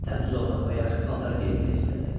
Təmiz olmaq və yaxşı paltar geyinmək istədi.